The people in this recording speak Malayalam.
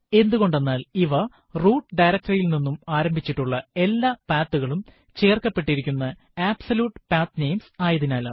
എന്ത്കൊണ്ടെന്നാൽ ഇവ റൂട്ട് directory യിൽ നിന്നും ആരംഭിച്ചിട്ടുള്ള എല്ലാ path കളും ചേര്ക്കപ്പെട്ടിരിക്കുന്ന അബ്സല്യൂട്ട് പത്നമേസ് ആയതിനാലാണ്